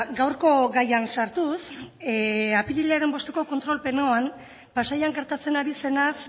gaurko gaian sartuz apirilaren bosteko kontrol plenoan pasaian gertatzen ari zenaz